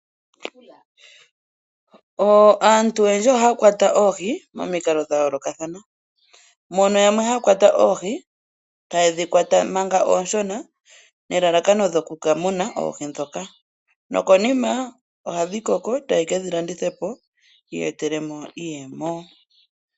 Aantu oyendji ohaya kwata oohi momikalo dha yoolokathana. Yamwe ohaya kwata oohi manga oonshona nomalalakano goku ka muna oohi ndhoka, nokonima ohadhi koko e taye ke dhi landitha po yi iyetele iiyemo.